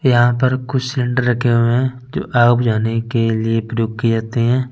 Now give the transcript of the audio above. यहा पर कुछ रखे हुए है जाने के लिए प्रयोग किये जाते है ।